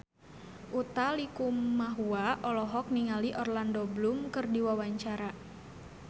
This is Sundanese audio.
Utha Likumahua olohok ningali Orlando Bloom keur diwawancara